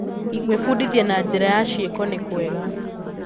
Gwĩbundithia na njĩra ya ciĩko nĩ kwega.